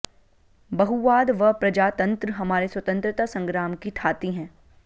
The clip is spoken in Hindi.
बहुवाद व प्रजातंत्र हमारे स्वतंत्रता संग्राम की थाती हैं